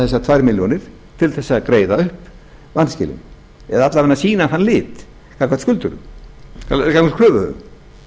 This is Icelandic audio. þessar tvær milljónir til að greiða upp vanskilin eða alla vega sýna þann lit gagnvart kröfuhöfum